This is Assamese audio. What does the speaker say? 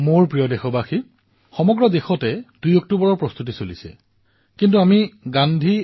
মোৰ মৰমৰ দেশবাসীসকল ২ অক্টোবৰৰ প্ৰস্তুতি আজি সমগ্ৰ দেশতে আৰু বিশ্বতো আৰম্ভ হৈছে